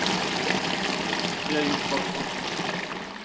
Vi har gjort vad vi kunnat.